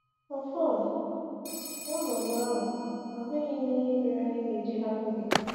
“Ọfọn, n’ọnọdụ ahụ, ahụghị m ihe mere anyị ga-eji hapụ gị.”